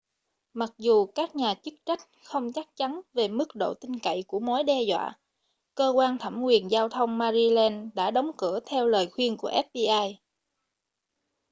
mặc dù các nhà chức trách không chắc chắn về mức độ tin cậy của mối đe dọa cơ quan thẩm quyền giao thông maryland đã đóng cửa theo lời khuyên của fbi